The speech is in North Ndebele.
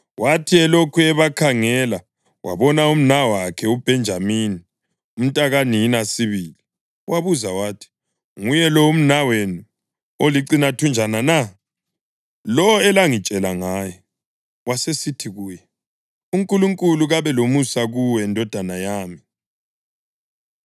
Wathi elokhu ebakhangela wabona umnawakhe uBhenjamini, umntakanina sibili, wabuza wathi, “Nguye lo umnawenu olicinathunjana na, lowo elangitshela ngaye?” Wasesithi kuye, “UNkulunkulu kabe lomusa kuwe, ndodana yami.”